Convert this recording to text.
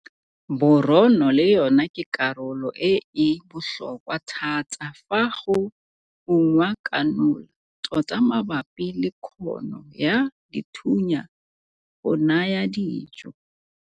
Borono le yona ke karolo e e botlhokwa thata fa go ungwa kanola, tota mabapi le kgono ya dithunya go naya dijo.